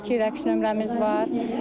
İki rəqs nömrəmiz var.